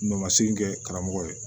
Nɔ ma se kɛ karamɔgɔ ye